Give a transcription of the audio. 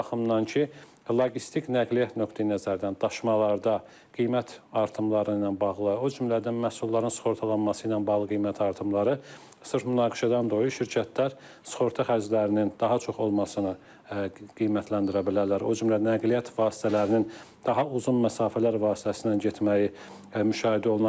Bu baxımdan ki, logistik nəqliyyat nöqteyi-nəzərdən daşımalarda qiymət artımları ilə bağlı, o cümlədən məhsulların sığortalanması ilə bağlı qiymət artımları sırf münaqişədən dolayı şirkətlər sığorta xərclərinin daha çox olmasını qiymətləndirə bilərlər, o cümlədən nəqliyyat vasitələrinin daha uzun məsafələr vasitəsilə getməyi müşahidə oluna bilər.